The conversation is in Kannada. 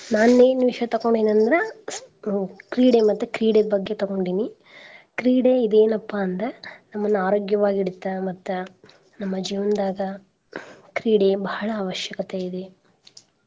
ನಾನ್ ಎನ್ ವಿಷ್ಯ ತಕ್ಕೋಂಡೇನ್ ಅಂದ್ರ ಅಹ್ ಕ್ರೀಡೆ, ಮತ್ತೆ ಕ್ರೀಡೆ ಬಗ್ಗೆ ತಗೊಂಡೇನಿ ಕ್ರೀಡೆ ಇದೇನಪ್ಪ ಅಂದ್ರ ನಮ್ನ ಆರೋಗ್ಯವಾಗ್ ಇಡುತ್ತ ಮತ್ತ ನಮ್ಮ ಜೀವನ್ದಾಗ ಕ್ರೀಡೆ ಭಾಳ ಅವಶ್ಯಕತೆ ಇದೆ.